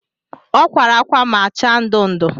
O kwara akwa ma-acha ndu ndu